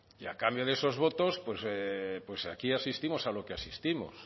y a cambio de esos votos pues aquí asistimos a lo que asistimos